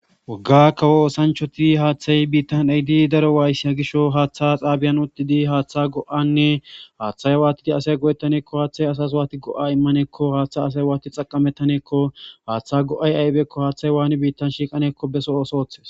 Wagga kawo oosanchoti haaththay biittan ey di daro waayssi hagisho haaththa xaabiyan udidi haaththa go7anne haaththay waatidi asay go7ettaneekko haaththay asas waati go7a immaneekko haaththa asay waati xaqamettaneekko haaththa go7ay aybeekko haaththay waani biittan shiiqaneekko beso oosooththes.